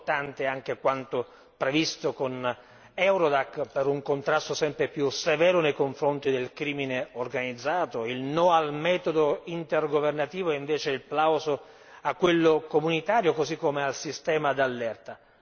Importante anche quanto previsto con Eurodac per un contrasto sempre più severo nei confronti del crimine organizzato, il no al metodo intergovernativo e invece il plauso a quello comunitario, così come al sistema d'allerta.